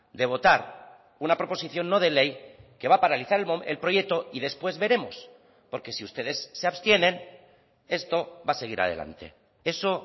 de votar una proposición no de ley que va a paralizar el proyecto y después veremos porque si ustedes se abstienen esto va a seguir adelante eso